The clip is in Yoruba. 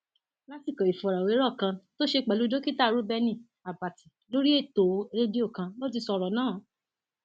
lásìkò ìfọrọwérọ kan tó ṣe pẹlú dókítà rèubeni àbàtì lórí ètò rédíò kan ló ti sọrọ náà